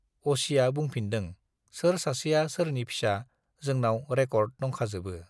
असिया बुंफिनदों, सोर सासेया सोरनि फिसा जोंनाव रेकर्ड दंखाजोबो।